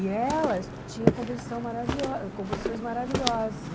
E elas tinham composição maravilho composições maravilhosas.